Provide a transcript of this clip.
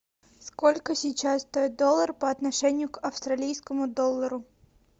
сколько сейчас стоит доллар по отношению к австралийскому доллару